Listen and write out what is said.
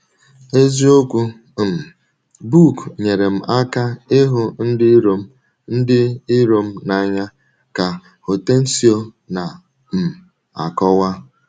“ Eziokwu um book nyeere m aka ịhụ ndị iro m ndị iro m n’anya, ” ka Hortêncio na - um akọwa.